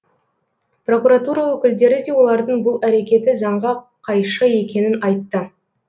прокуратура өкілдері де олардың бұл әрекеті заңға қайшы екенін айтты